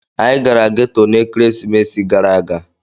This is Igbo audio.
anyi gara geto na ekeresimesi gara aga.